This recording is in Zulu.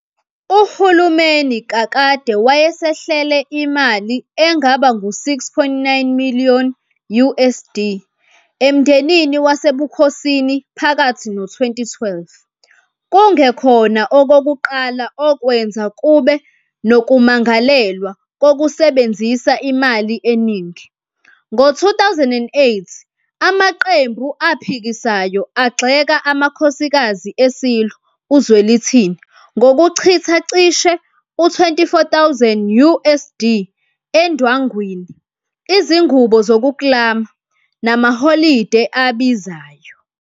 UHulumeni kakade wayesehlele imali engaba ngu-6.9 million USD emndenini wasebukhosini phakathi no-2012, kungekhona okokuqala okwenza kube nokumangalelwa kokusebenzisa imali eningi, ngo-2008, amaqembu aphikisayo agxeka amakhosikazi eSilo uZwelithini ngokuchitha cishe u-24,000 USD endwangwini, izingubo zokuklama, namaholide abizayo.